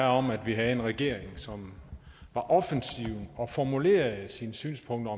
om at vi havde en regering som var offensiv og formulerede sine synspunkter